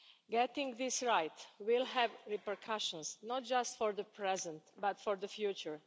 Getting this right will have repercussions, not just for the present but for the future.